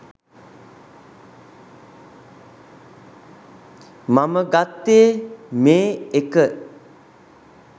මම ගත්තේ මේ එක